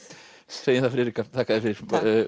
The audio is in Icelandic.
segjum það Friðrika þakka þér fyrir